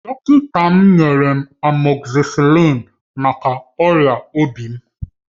Dọkịta m nyere m amoxicillin maka ọrịa obi m.